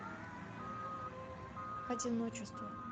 одиночество